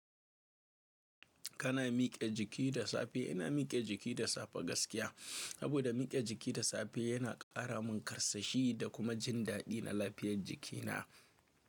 Kana miƙe jiki da safe? Ina miƙe jiki da safe gaskiya. Sabo da miƙe jiki da safe yana ƙara min karsashi da kuma jin daɗi na lafiyar jikina.